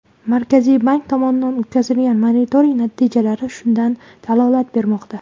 Markaziy bank tomonidan o‘tkazilgan monitoring natijalari shundan dalolat bermoqda .